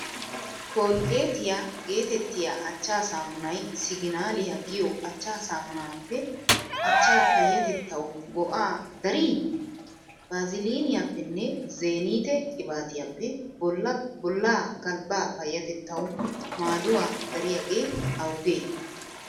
Kolggeetiyaa geetettiya achchaa saamunay siginaaliyaa giyo achchaa saamunaappe achchaa payyatettawu go"aa darii? Vaaziliniyaappenne zeenite qibaatiyaappe bollaa galbbaa payyatettawu maaduwaa dariyagee awugee?